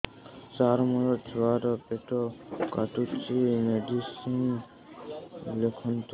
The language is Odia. ସାର ମୋର ଛୁଆ ର ପେଟ କାଟୁଚି ମେଡିସିନ ଲେଖନ୍ତୁ